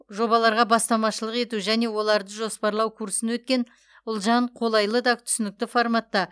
жобаларға бастамашылық ету және оларды жоспарлау курсын өткен ұлжан қолайлы да түсінікті форматта